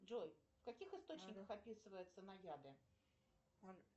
джой в каких источниках описываются наяды